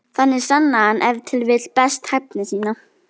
Þannig sannaði hann ef til vill best hæfni sína.